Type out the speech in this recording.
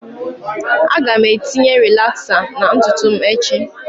Aga m etinye rilaxer na ntutu m echi